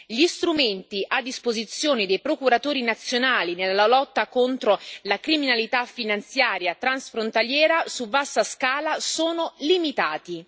Gli strumenti a disposizione dei procuratori nazionali nella lotta contro la criminalità finanziaria transfrontaliera su vasta scala sono limitati.